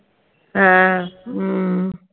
হ্যাঁ